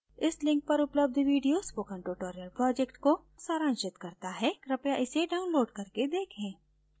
इस link पर उपलब्ध video spoken tutorial project को सारांशित करता है कृपया इसे download करके देखें